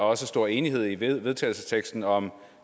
også stor enighed i vedtagelsesteksten om